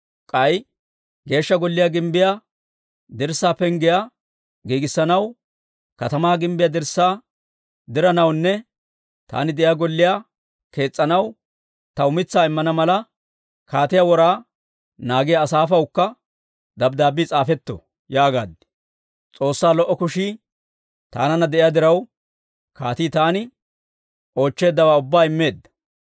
K'ay Geeshsha Golliyaa gimbbiyaa dirssaa penggiyaa giigissanaw, katamaa gimbbiyaa dirssaa diranawunne taani de'iyaa golliyaa kees's'anaw taw mitsaa immana mala, kaatiyaa wora naagiyaa Asaafawukka dabddaabbii s'aafetto» yaagaad. S'oossaa lo"o kushii taananna de'iyaa diraw, kaatii taani oochcheeddawaa ubbaa immeedda.